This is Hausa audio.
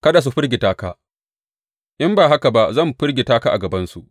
Kada su firgita ka, in ba haka ba zan firgita ka a gabansu.